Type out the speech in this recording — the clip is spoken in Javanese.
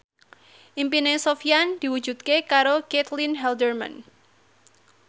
impine Sofyan diwujudke karo Caitlin Halderman